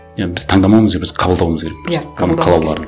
иә біз таңдамауымыз керек біз қабылдауымыз керек просто